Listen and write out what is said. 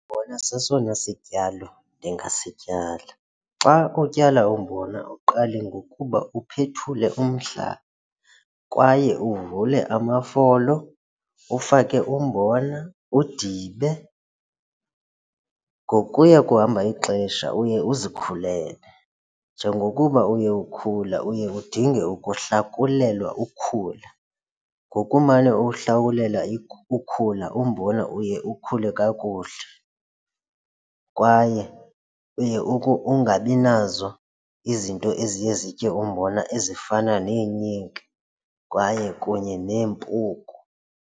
Umbona sesona sityalo ndingasityala. Xa utyala umbona uqale ngokuba uphethule umhlaba kwaye uvule amafolo ufake umbona, udibe. Ngokuya kuhamba ixesha uye uzikhulele, njengokuba uye ukhula uye udinge ukuhlakulelwa ukhula. Ngokumane uhlakulela ukhula umbona uye ukhule kakuhle kwaye uye ungabi nazo izinto eziye zitye umbona ezifana neenyiki kwaye kunye neempuku.